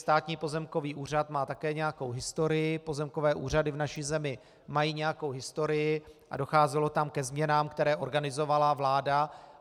Státní pozemkový úřad má také nějakou historii, pozemkové úřady v naší zemi mají nějakou historii a docházelo tam ke změnám, které organizovala vláda.